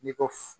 N'i ko